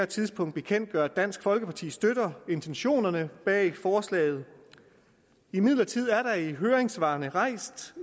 tidspunkt bekendtgøre at dansk folkeparti støtter intentionerne bag forslaget imidlertid er der i høringssvarene rejst